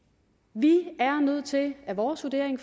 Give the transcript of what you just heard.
vi er nødt til det er vores vurdering